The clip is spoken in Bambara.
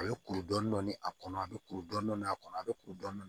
A bɛ kuru dɔɔni dɔɔni a kɔnɔ a bɛ kuru dɔɔni a kɔnɔ a bɛ kuru dɔɔni